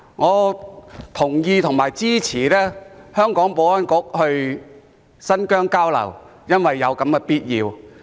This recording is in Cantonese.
我同意和支持香港的保安局到新疆交流，因為這是有必要的。